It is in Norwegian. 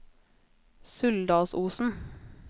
Suldalsosen